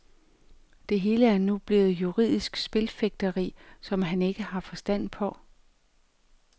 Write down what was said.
Det hele er nu blevet juridisk spilfægteri, som han ikke har forstand på.